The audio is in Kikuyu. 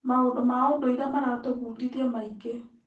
Maũndũ ma ũndũire maratũbundithia maingĩ.